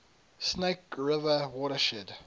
snake river watershed